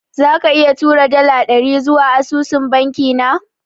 Zaka iya tura dala dari zuwa asusun banki na?